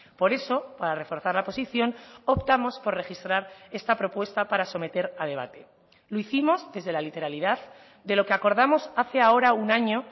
por eso para reforzar la posición optamos por registrar esta propuesta para someter a debate lo hicimos desde la literalidad de lo que acordamos hace ahora un año